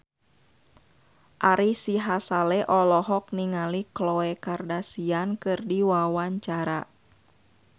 Ari Sihasale olohok ningali Khloe Kardashian keur diwawancara